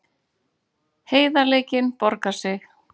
Heiðarleikinn borgaði sig